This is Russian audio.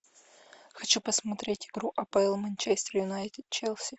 хочу посмотреть игру апл манчестер юнайтед челси